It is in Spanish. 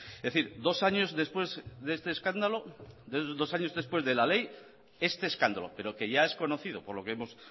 es decir dos años después de la ley este escándalo pero que ya es conocido por lo que hemos